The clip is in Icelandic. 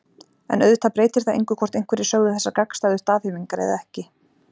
En auðvitað breytir það engu hvort einhverjir sögðu þessar gagnstæðu staðhæfingar eða ekki.